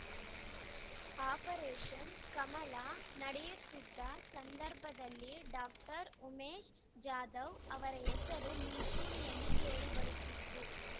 operation Kamala ನಡೆಯುತ್ತಿದ್ದ ಸಂದರ್ಭದಲ್ಲಿ doctor Umesh Jadhav ಅವರ ಹೆಸರು ಮುಂಚೂಣಿಯಲ್ಲಿ ಕೇಳಿ ಬರುತ್ತಿತ್ತು